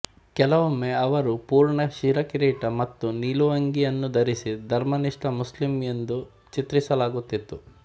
ಕೆಲವೊಮ್ಮೆ ಅವರು ಪೂರ್ಣ ಶಿರಕಿರೀಟ ಮತ್ತು ನಿಲುವಂಗಿಯನ್ನು ಧರಿಸಿ ಧರ್ಮನಿಷ್ಠ ಮುಸ್ಲಿಂ ಎಂದು ಚಿತ್ರಿಸಲಾಗುತ್ತಿತ್ತು